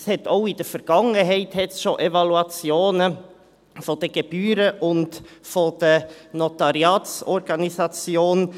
Es gab auch in Vergangenheit schon Evaluationen der Gebühren und der Notariatsorganisation.